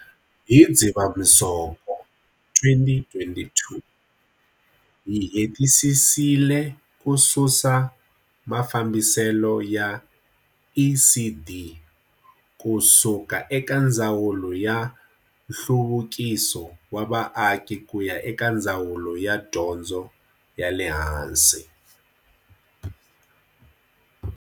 Hi Dzivamusoko, 2022, hi hetisisile ku susa mafambiselo ya ECD ku suka eka Ndzawulo ya Nhluvukiso wa Vaaki ku ya eka Ndzawulo ya Dyondzo ya le Hansi.